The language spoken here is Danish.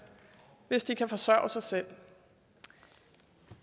hvis de kan forsørge sig selv